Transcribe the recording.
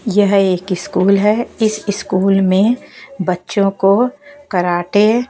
यह एक स्कूल है इस स्कूल में बच्चों को कराटे --